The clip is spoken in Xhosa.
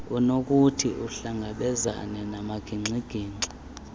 unokuthi uhlangabezane namagingxigingxi